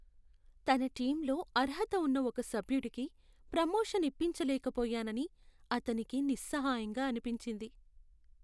తన టీమ్లో అర్హత ఉన్న ఒక సభ్యుడికి ప్రొమోషన్ ఇప్పించలేకపోయానని అతనికి నిస్సహాయంగా అనిపించింది.